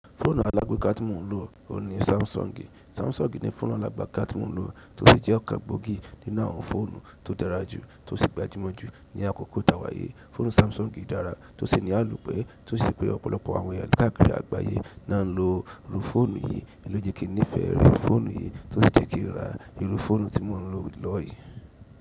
Fóònù alágbeka tí mò ń lò óhun ní samsung. Samsung ní fòònù alágbeka tí mò ń lò tó ṣì jẹ́ okàngbógì nínú àwọn fòònù tó dárajù tó sì gbàjùmọ̀ jù ní àkókò ta wayi. Fòònù Samsung dára tó sì ní àlopẹ̀ tó ṣi pé ọ̀pọ̀lọpọ̀ àwọn eyan kakiri àgbáyé lo ń lo irú fòònù yìí. Ohin lo je kì nífẹ̀ re fòònù yìí, tó sì jẹ́ kí n ra irú fòònù tí mò ń lò lọ́wo yìí.